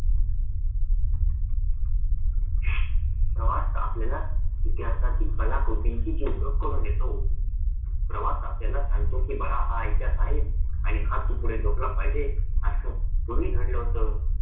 प्रवास आपल्याला इतिहासाची कलाकृतींची जी ओळख करून देतो. प्रवास आपल्याला सांगतो कि बाळा हा इतिहास आहे आणि हा तू पुढे जपला पाहिजे असं पूर्वी घडलं होतं